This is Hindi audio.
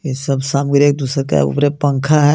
ये सब सामग्री एक दूसरे के ऊपर ये पंखा हे.